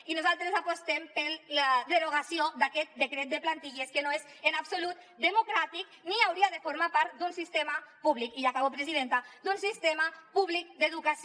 i nosaltres apostem per la derogació d’aquest decret de plantilles que no és en absolut democràtic ni hauria de formar part d’un sistema públic i acabo presidenta d’educació